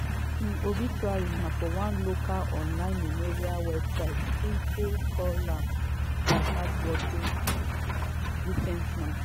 im obituary for one local online memorial website simply call am “a hardworking decent man”.